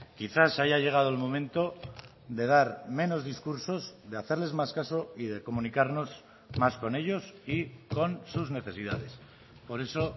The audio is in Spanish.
quizás haya llegado el momento de dar menos discursos de hacerles más caso y de comunicarnos más con ellos y con sus necesidades por eso